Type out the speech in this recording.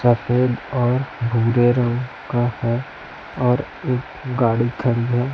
सफेद और भूरे रंग का है और एक गाड़ी खड़ी है।